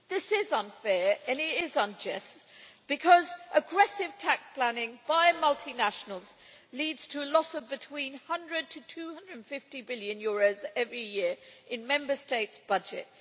This is unfair and it is unjust, because aggressive tax planning by multinationals leads to a loss of between EUR 100 to 250 billion every year in Member States' budgets.